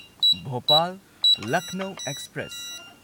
Bhopal Lucknow express